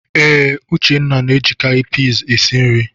Ee, Uchenna na-ejikarị pis esi nri.